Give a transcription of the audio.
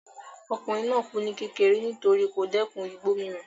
Ọkùnrin náà kù ní kékeré nítorí kò dẹ́ẹ̀kun igbó mímu